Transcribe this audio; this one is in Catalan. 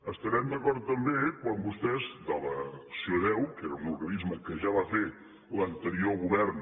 estarem d’acord també quan vostès de l’acc1ó que era un organisme que ja va fer l’anterior govern